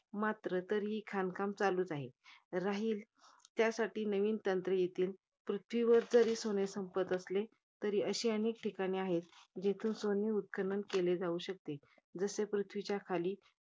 मात्र तरीही खाणकाम चालू राहील. राहील यासाठी नवीन तंत्रे घेतील. पृथ्वीवर जरी सोने संपले तरी, अशी अनेक ठिकाणे आहेत. ज्यातून सोने उत्खनन केले जाऊ शकते. जसे पृथ्वीच्या खाली